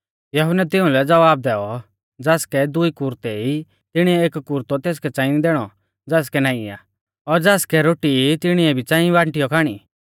यहुन्नै तिउंलै ज़वाब दैऔ ज़ासकै दुई कुरतै ई तिणीऐ एक कुरतौ तेसकै च़ांई दैणौ ज़ासकै नाईं आ और ज़ासकै रोटी ई तिणीऐ भी च़ांई बांटीऔ खाणी